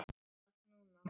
Veit það núna.